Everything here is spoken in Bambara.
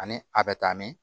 Ani a bɛ taa min